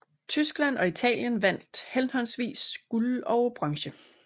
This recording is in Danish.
Tyskland og Italien vandt henholdsvis guld og bronze